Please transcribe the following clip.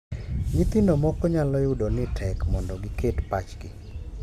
Nyithindo moko nyalo yudo ni tek mondo giket pachgi